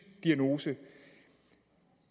diagnose